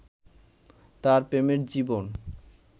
তার প্রেমের জীবন